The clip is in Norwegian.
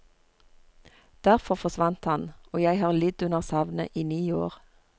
Derfor forsvant han, og jeg har lidd under savnet i ni år.